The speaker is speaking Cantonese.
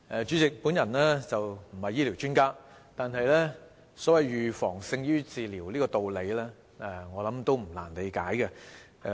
主席，我不是醫療專家，但"預防勝於治療"的道理，我相信也不難理解。